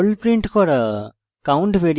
hello perl print করা